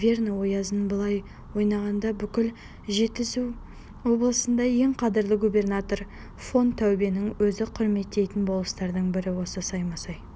верный оязын былай қойғанда бүкіл жетісу облысында ең қадірлі губернатор фон таубенің өзі құрметтейтін болыстардың бірі осы саймасай